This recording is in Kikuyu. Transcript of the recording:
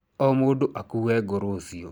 O mũndũ akuue ngũ rũciũ.